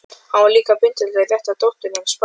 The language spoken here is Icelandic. Hann var líka píndur til að rétta dótturinni spaðann.